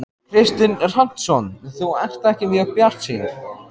Kristinn Hrafnsson: Þú ert ekki mjög bjartsýn?